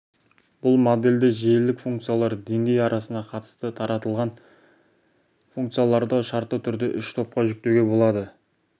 бұл модельде желілік функциялар деңгей арасына қатысты таратылған функцияларды шартты түрде үш топқа жіктеуге болады